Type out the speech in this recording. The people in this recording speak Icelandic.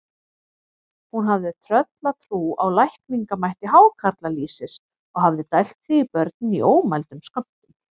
Hún hafði tröllatrú á lækningamætti hákarlalýsis og hafði dælt því í börnin í ómældum skömmtum.